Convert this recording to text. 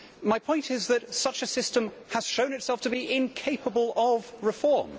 My point is that such a system has shown itself to be incapable of reform.